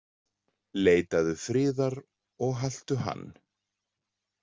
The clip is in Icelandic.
„Leitaðu friðar og haltu hann“.